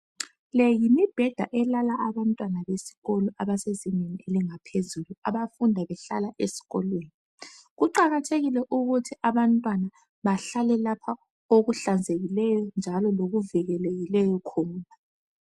Le yimibheda elala abantwana besikolo, abasezingeni elingaphezulu. Abafunda behlala esikolweni. Kuqakathekile ukuthi abantwana bahlale lapha okuhlanzekileyo, njalo lokuvikelekileyo khona.